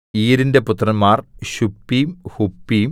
ഈരിന്റെ പുത്രന്മാർ ശുപ്പീം ഹുപ്പീം